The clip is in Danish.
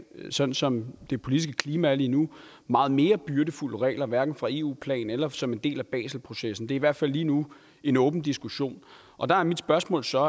og sådan som det politiske klima er lige nu meget mere byrdefulde regler hverken på eu plan eller som en del af baselprocessen det er i hvert fald lige nu en åben diskussion og der er mit spørgsmål så